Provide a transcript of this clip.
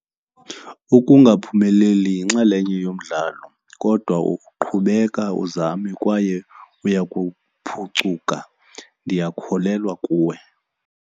Ukungaphumeleli yinxalenye yomdlalo kodwa qhubeka uzame kwaye uya kuphucuka. Ndiyakholelwa kuwe.